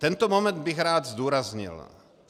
Tento moment bych rád zdůraznil.